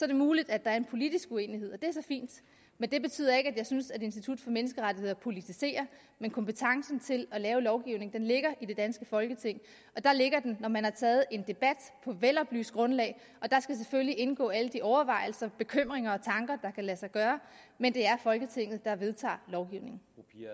det muligt at der er en politisk uenighed er så fint men det betyder ikke at jeg synes at institut for menneskerettigheder politiserer men kompetencen til at lave lovgivning ligger i det danske folketing og der ligger den når man har taget en debat på et veloplyst grundlag og der skal selvfølgelig indgå alle de overvejelser bekymringer og tanker der kan lade sig gøre men det er folketinget der vedtager lovgivningen